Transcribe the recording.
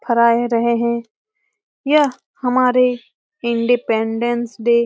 फराए रहे हैं यह हमारे इंडिपेंडेंस डे --